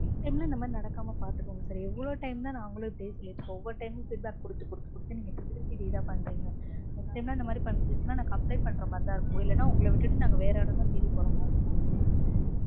next time லாம் இந்த மாதிரி நடக்காம பாத்துக்கோங்க sir. எவ்ளோ time தா நாங்களும் இப்டியே சொல்லிட்டிருப்போம். ஒவ்வொரு time மும் feedback கொடுத்து கொடுத்து கொடுத்து நீங்க திருப்பி திருப்பி இதேதா பண்றீங்க. Next time லாம் இந்த மாதிரி பண்ணுச்சுனா நாங்க complaint பண்ற மாதிரிதா இருக்கும். இல்லனா நாங்க உங்கள விட்டுட்டு நாங்க வேற ஆளதா தேடி போற மாதிரி இருக்கும்.